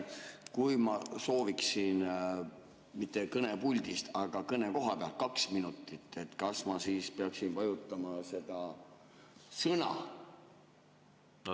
Kui ma sooviksin mitte kõnepuldist, aga kohapealt kaks minutit, kas ma peaksin vajutama seda "Sõna"?